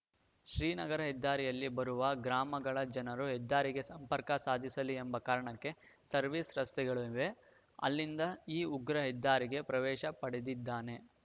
ಶ್ರೀನಗರ ಹೆದ್ದಾರಿಯಲ್ಲಿ ಬರುವ ಗ್ರಾಮಗಳ ಜನರು ಹೆದ್ದಾರಿಗೆ ಸಂಪರ್ಕ ಸಾಧಿಸಲಿ ಎಂಬ ಕಾರಣಕ್ಕೆ ಸರ್ವಿಸ್‌ ರಸ್ತೆಗಳು ಇವೆ ಅಲ್ಲಿಂದ ಈ ಉಗ್ರ ಹೆದ್ದಾರಿಗೆ ಪ್ರವೇಶ ಪಡೆದಿದ್ದಾನೆ